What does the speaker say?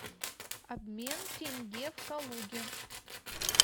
обмен тенге в калуге